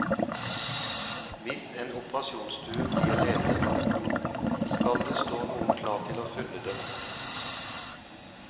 Hvis en operasjonsstue blir ledig, skal det stå noen klar til å fylle den.